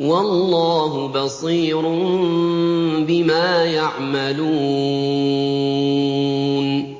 وَاللَّهُ بَصِيرٌ بِمَا يَعْمَلُونَ